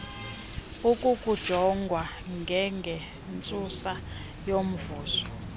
akukujongwa ngengentsusa yomvuzo